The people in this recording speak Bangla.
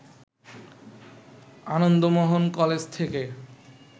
আনন্দমোহন কলেজ থেকে